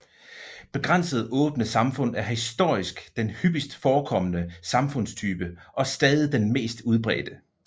Begrænset åbne samfund er historisk den hyppigst forekommende samfundstype og stadig den mest udbredte